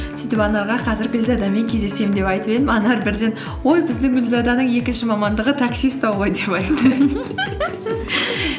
сөйтіп анарға қазір гүлзадамен кездесемін деп айтып едім анар бірден ой біздің гүлзаданың екінші мамандығы такси ұстау ғой деп айтты